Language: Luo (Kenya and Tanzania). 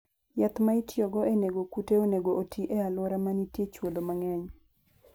Yath ma itiyogo e nego kute onego oti e alwora ma nitie chwodho mang'eny.